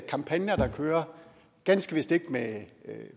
kampagner der kører ganske vist ikke med